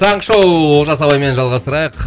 таңғы шоу олжас ағаймен жалғастырайық